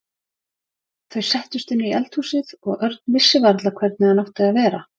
Þau settust inn í eldhúsið og Örn vissi varla hvernig hann átti að vera.